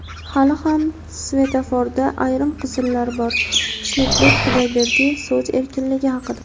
Hali ham svetoforda ayrim qizillar bor – Xushnudbek Xudoyberdiyev so‘z erkinligi haqida.